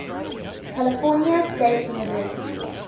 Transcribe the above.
california state university